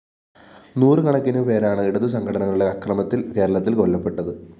നൂറുകണക്കിന് പേരാണ് ഇടതു സംഘടനകളുടെ അക്രമത്തില്‍ കേരളത്തില്‍ കൊല്ലപ്പെട്ടത്